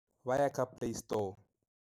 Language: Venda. Vhaya kha playstore.